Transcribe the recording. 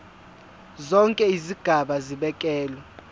zonke izigaba zibekelwe